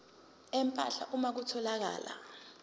empahla uma kutholakala